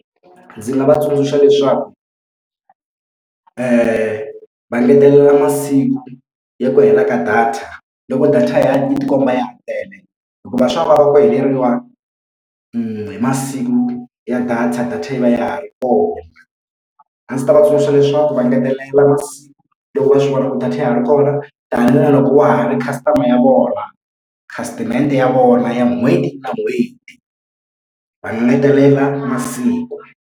Ndzi nga va tsundzuxa leswaku va engetelela masiku ya ku hela ka data loko data yi tikomba yi tele hikuva swa vava kwihi leriwani hi masiku ya data data yi va ya ha ri kona. A ndzi ta va tsundzuxa leswaku va ngetelela masiku loko va swivula ku data ya ha ri kona ta ni na loko wa ha ri customer ya vona khasitimende ya vona ya n'hweti na n'hweti va engetelela masiku.